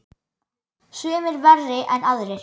Sumir verri en aðrir.